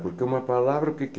Porque uma palavra, o que que é?